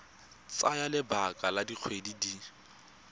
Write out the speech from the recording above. tsaya lebaka la dikgwedi di